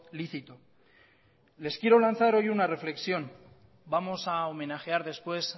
lícito les quiero lanzar hoy una reflexión vamos a homenajear después